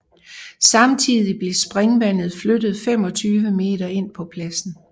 Samtidig blev springvandet flyttet 25 meter ind på pladsen